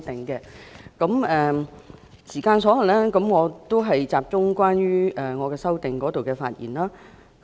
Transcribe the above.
因發言時間所限，我會集中就我的修正案發言。